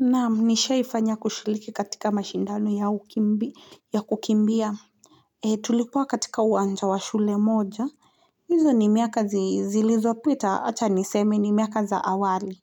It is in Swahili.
Naam, nishaifanya kushiriki katika mashindano ya kukimbia. Tulikuwa katika uwanja wa shule moja. Hizo ni miaka zilizopita, wacha niseme ni miaka za awali.